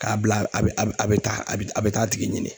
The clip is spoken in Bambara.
K'a bila a bɛ a bɛ taa a bɛ a bɛ taa a tigi ɲini.